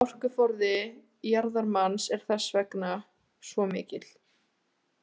Orkuforði jarðvarmans er þess vegna svo mikill.